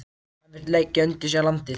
Hann vill leggja undir sig landið.